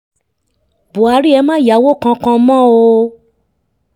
buhari ẹ̀ má yáwó kankan mọ́ o